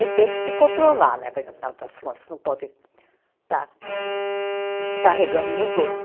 E tem que se controlar né, porque, afinal das contas, não pode estar descarregando nos outros.